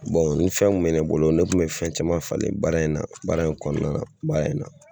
ni fɛn kun bɛ ne bolo , ne kun bɛ fɛn caman falen baara in na, baara in kɔnɔna na, baara in na.